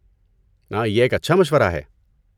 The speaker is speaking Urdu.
نا یہ ایک اچھا مشورہ ہے۔